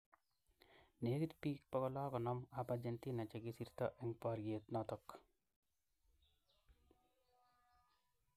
Negit bik 650 ab Argentina chikisirto eng bariet noto